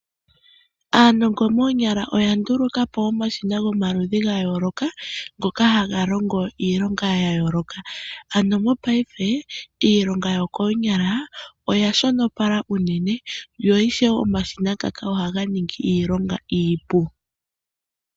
Aanongo moonyala oya nduluka po omashina gomaludhi gayooloka ngoka haga longo iilonga yayooloka, ano mopaife iilonga yokoonyala oyashonopala uunene na ishewe omashina ngaka ohaga ningi iilonga iipu.